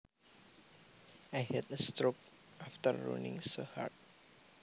I had a stroke after running so hard